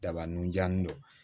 Daba nunjannin don